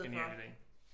Genial ide